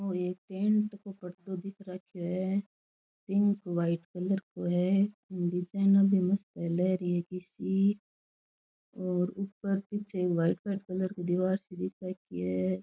ओ एक टेंट को पर्दो दिख राख्यो है पिंक वाइट कलर को है इम डिजाइना भी मस्त है लेहरिया की सी और ऊपर पीछे वाइट वाइट कलर को दिवार सी दिख राखी है।